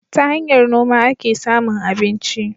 Ta hanyar noma ake samun abinci.